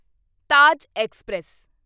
Taj express